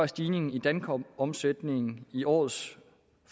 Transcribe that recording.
stigningen i dankortomsætningen i årets